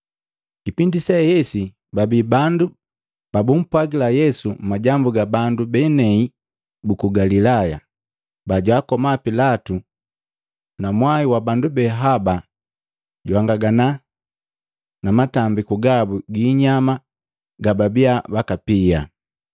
Kipindi sehesi, babi bandu babumpwagila Yesu majambu ga bandu benei buku Galilaya bajwaakoma Pilatu na mwai wa bandu behaba jwahangangana na matambiku gabu giinyama gababia bakapia.